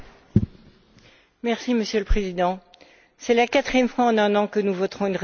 Monsieur le Président, c'est la quatrième fois en un an que nous voterons une résolution sur la Syrie.